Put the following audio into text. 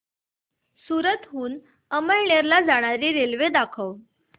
सूरत हून अमळनेर ला जाणारी रेल्वे दाखव